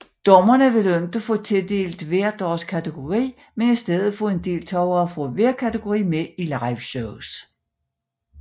Dommerne ville ikke få tildelt hver deres kategori men i stedet få en deltager fra hver kategori med i liveshows